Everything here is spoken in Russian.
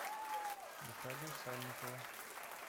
наталью сальникову